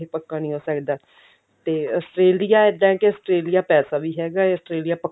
ਪੱਕਾ ਨੀ ਹੋ ਸਕਦਾ ਤੇ Australia ਇਦਾਂ ਹੈ ਕਿ Australia ਪੈਸਾ ਵੀ ਹੈਗਾ ਹੈ Australia ਪੱਕਾ